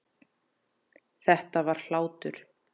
Þetta var hlátur.